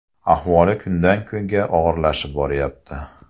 Ahvoli kundan kunga og‘irlashib boryapti.